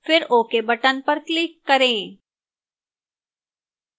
फिर ok button पर click करें